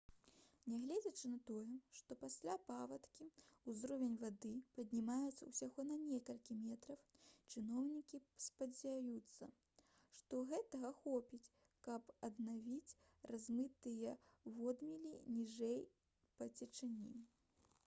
нягледзячы на тое што пасля паводкі ўзровень вады паднімецца ўсяго на некалькі метраў чыноўнікі спадзяюцца што гэтага хопіць каб аднавіць размытыя водмелі ніжэй па цячэнні